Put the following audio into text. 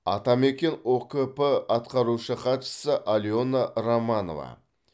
атамекен ұкп атқарушы хатшысы алена романова